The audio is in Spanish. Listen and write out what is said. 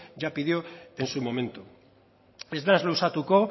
ya pidió en su momento ez naiz luzatuko